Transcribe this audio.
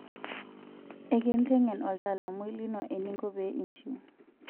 Ekintengen oltaalamui lino eninko pee iinchiu.